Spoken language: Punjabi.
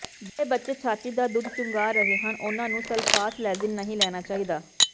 ਜਿਹੜੇ ਬੱਚੇ ਛਾਤੀ ਦਾ ਦੁੱਧ ਚੁੰਘਾ ਰਹੇ ਹਨ ਉਨ੍ਹਾਂ ਨੂੰ ਸਲਫਾਸਲੈਜੀਨ ਨਹੀਂ ਲੈਣਾ ਚਾਹੀਦਾ